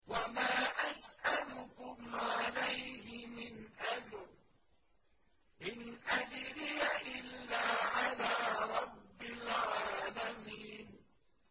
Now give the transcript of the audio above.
وَمَا أَسْأَلُكُمْ عَلَيْهِ مِنْ أَجْرٍ ۖ إِنْ أَجْرِيَ إِلَّا عَلَىٰ رَبِّ الْعَالَمِينَ